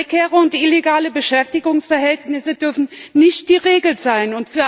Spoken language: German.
Prekäre und illegale Beschäftigungsverhältnisse dürfen nicht die Regel sein.